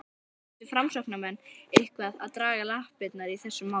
Lóa: Eru framsóknarmenn eitthvað að draga lappirnar í þessu máli?